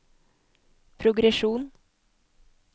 progresjon